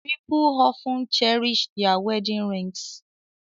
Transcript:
People often cherish their wedding rings